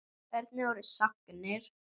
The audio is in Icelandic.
Hvernig voru sagnir?